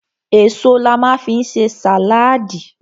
Èso la ma fi ń ṣe sàláàdì.